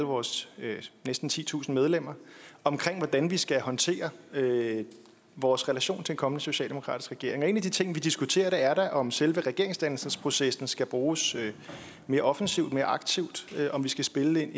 vores næsten titusind medlemmer om hvordan vi skal håndtere vores relation til en kommende socialdemokratisk regering og en af de ting vi diskuterer er da om selve regeringsdannelsesprocessen skal bruges mere offensivt mere aktivt og om vi skal spille